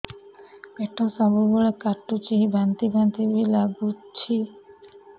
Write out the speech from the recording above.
ପେଟ ସବୁବେଳେ କାଟୁଚି ବାନ୍ତି ବାନ୍ତି ବି ଲାଗୁଛି